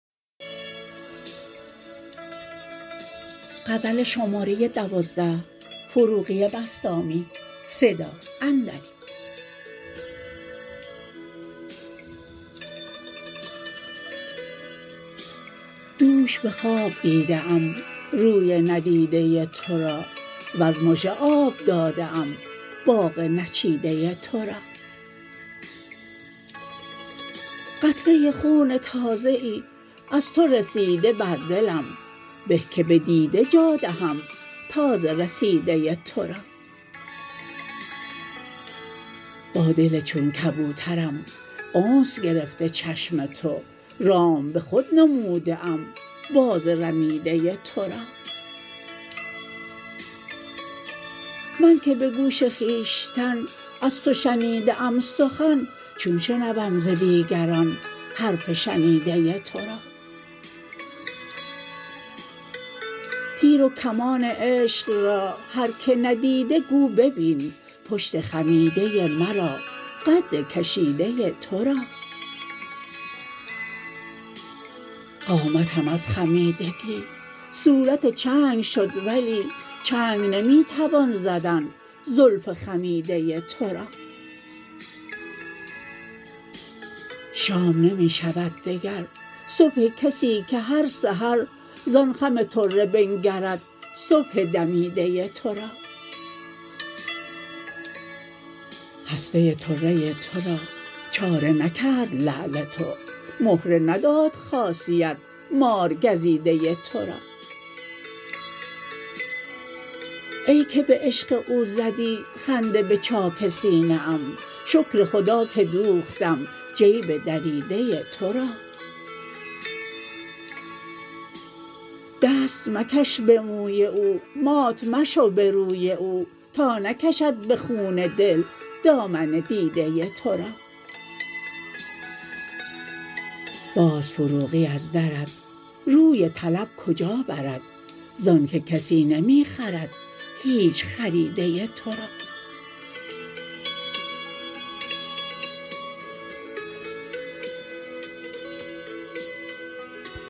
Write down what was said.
دوش به خواب دیده ام روی ندیده تو را وز مژه آب داده ام باغ نچیده تو را قطره خون تازه ای از تو رسیده بر دلم به که به دیده جا دهم تازه رسیده تو را با دل چون کبوترم انس گرفته چشم تو رام به خود نموده ام باز رمیده تو را من که به گوش خویشتن از تو شنیده ام سخن چون شنوم ز دیگران حرف شنیده تو را تیر و کمان عشق را هر که ندیده گو ببین پشت خمیده مرا قد کشیده تو را قامتم از خمیدگی صورت چنگ شد ولی چنگ نمی توان زدن زلف خمیده تو را شام نمی شود دگر صبح کسی که هر سحر زان خم طره بنگرد صبح دمیده تو را خسته طره تو را چاره نکرد لعل تو مهره نداد خاصیت مارگزیده تو را ای که به عشق او زدی خنده به چاک سینه ام شکر خدا که دوختم جیب دریده تو را دست مکش به موی او مات مشو به روی او تا نکشد به خون دل دامن دیده تو را باز فروغی از درت روی طلب کجا برد زان که کسی نمی خرد هیچ خریده تو را